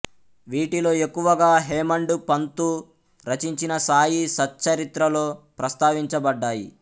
వీటిలో ఎక్కువగా హేమాండ్ పంతు రచించిన సాయి సచ్చరిత్రలో ప్రస్తావించబడ్డాయి